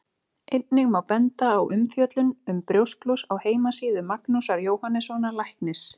Einnig má benda á umfjöllun um brjósklos á heimasíðu Magnúsar Jóhannssonar læknis.